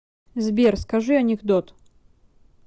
сбер скажи анекдот